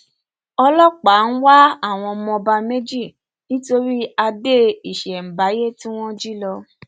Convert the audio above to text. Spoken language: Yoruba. ọlọpàá ń wá àwọn ọmọ ọba méjì nítorí adé ìṣemábáyé tí wọn jí lọ